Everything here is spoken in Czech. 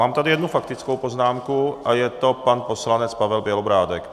Mám tady jednu faktickou poznámku a je to pan poslanec Pavel Bělobrádek.